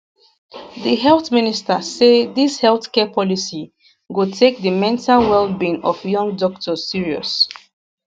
di health minister say dis healthcare policy go take di mental wellbeing of young doctors serious